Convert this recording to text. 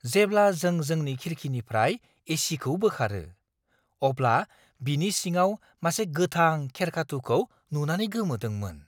जेब्ला जों जोंनि खिरखिनिफ्राय एसीखौ बोखारो, अब्ला बिनि सिङाव मासे गोथां खेरखाथु'खौ नुनानै गोमोदोंमोन!